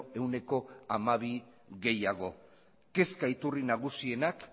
ehuneko hamabi gehiago kezka iturri nagusienak